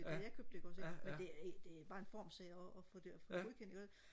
da jeg købte det ikke også ikke men det det er bare en formsag og få det og få det godkendt ikke også ikke